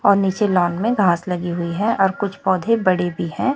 और नीचे लॉन में घास लगी हुई है और कुछ पौधे बड़े भी है।